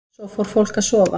Svo fór fólk að sofa.